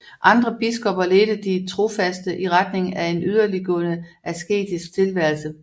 Andre biskopper ledte de trofaste i retning af en yderligtgående asketisk tilværelse